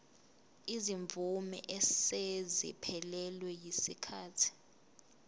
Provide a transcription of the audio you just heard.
izimvume eseziphelelwe yisikhathi